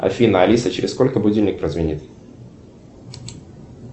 афина алиса через сколько будильник прозвенит